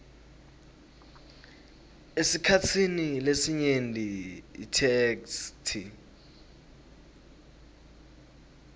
esikhatsini lesinyenti itheksthi